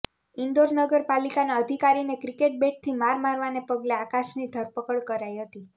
ઇન્દોર નગર પાલિકાના અધિકારીને ક્રિકેટ બેટથી માર મારવાને પગલે આકાશની ધરપકડ કરાઇ હતી